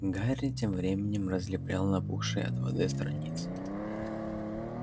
гарри тем временем разлеплял набухшие от воды страницы